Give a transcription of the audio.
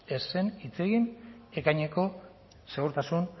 ez zen hitz egin ekaineko segurtasun